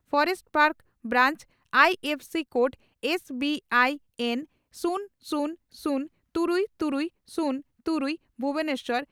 forest park branch I F S code S B I N ᱥᱩᱱ ᱥᱩᱱ ᱥᱩᱱ ᱛᱩᱨᱩᱭ ᱛᱩᱨᱩᱭ ᱥᱩᱱ ᱛᱩᱨᱩᱭ ) ᱵᱷᱩᱵᱚᱱᱮᱥᱚᱨ